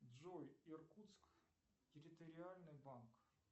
джой иркутск территориальный банк